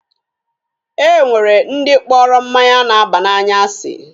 E nwere ndi kpọrọ mmanya na-aba n'anya asi.